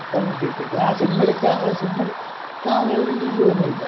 അപ്പം പിന്നെ ഏർ sim എടുക്കാ sim എടക്കാന്നൊരു ഇത് തോന്നിയില്ല